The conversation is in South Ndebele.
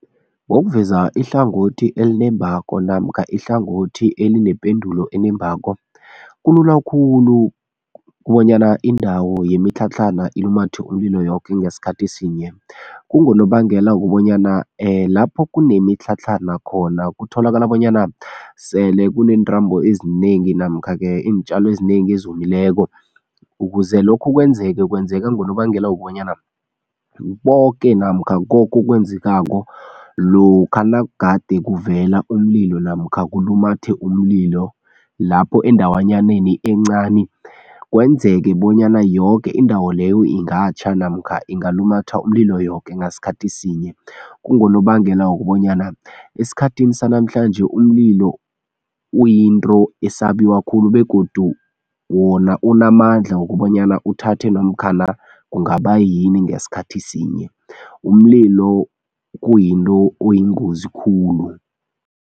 Ngokuveza ihlangothi elinembako namkha ihlangothi elinependulo enembako, kulula khulu kobanyana indawo yemitlhatlhana ilumathe umlilo yoke ngesikhathi sinye. Kungonobangela wokobanyana lapho kunemitlhatlhana khona kutholakala bonyana sele kuneentambo ezinengi namkha-ke iintjalo ezinengi ezomileko ukuze lokhu kwenzeke, kwenzeka ngonobangela wokobanyana boke namkha koke okwenzekako lokha nagade kuvela umlilo namkha kulumathe umlilo lapho endawanyaneni encani kwenzeke bonyana yoke indawo leyo ingatjha namkha ingalumatha umlilo yoke ngasikhathi sinye, kungonobangela wokobanyana esikhathini sanamhlanje umlilo kuyinto esabiwa khulu begodu wona unamandla wokobanyana uthathe namkhana kungaba yini ngesikhathi sinye, umlilo kuyinto oyingozi khulu.